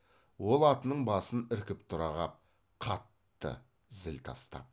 ол атының басын іркіп тұра қап қатты зіл тастап